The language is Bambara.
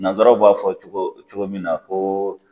Nanzaraw b'a fɔ cogo cogo min na ko